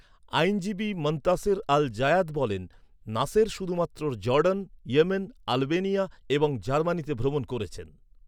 আইনজীবী Montaser Al Zayat বলেন, Nasser শুধুমাত্র জর্ডন, ইয়েমেন, আলবেনিয়া এবং জার্মানিতে ভ্রমণ করেছেন।